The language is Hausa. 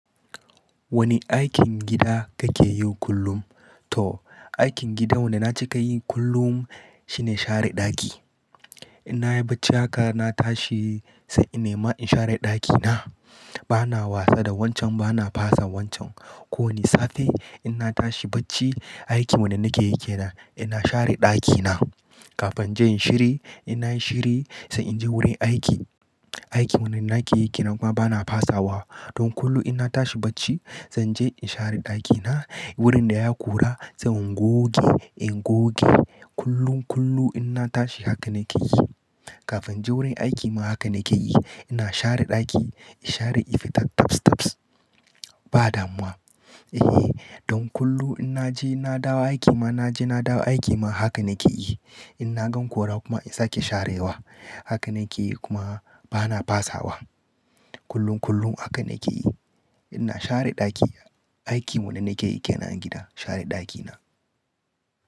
Wane aikin gida kake yi kullum? To aikin gida wanda na cika yi kullum shine share ɗaki. In nayi bacci haka na tashi sai in nema in share ɗakina. Bana wasa da wancan bana fasa wancan. Ko wani safe ina tashi bacci, aiki wanda nake yi ke nan ina share ɗakina. Kafin in je in yi shiri, in na yi shiri sai inje wurin aiki. Aiki wanda nake yake na kuma bana fasawa. Don kullum in na tashi bacci zan je in share ɗakina. Wurin da ya kura sai in goge, in goge. Kullun, kullum ina tashi haka nake yi. Kafin je wurin aiki ma haka nake yi. Ina share ɗaki, in share, in fita tabs tabs. Ba damuwa. E, don kullum in naje na dawo aiki ma, naje na dawo aiki ma haka nake yi. In na gan kura kuma in sake sharewa. Haka nake yi kuma bana fasawa. Kullun, kullum haka nake yi. Ina share ɗaki. Aiki wanda nake yi ke nan a gida share ɗakina.